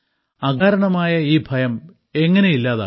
അകാരണമായ ഈ ഭയം എങ്ങനെ ഇല്ലാതാക്കാം